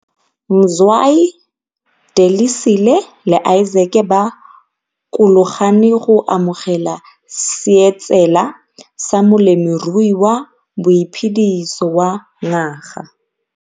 Mzwayi, Delisile le Isaac ba kologane go amogela seetsela sa Molemirui wa Boiphediso wa Ngaga